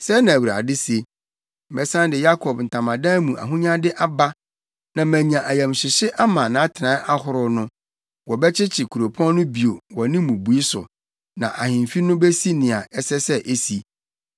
Sɛɛ na Awurade se: “ ‘Mɛsan de Yakob ntamadan mu ahonyade aba na manya ayamhyehye ama nʼatenae ahorow no; wɔbɛkyekye kuropɔn no bio wɔ ne mmubui so, na ahemfi no besi nea ɛsɛ sɛ esi.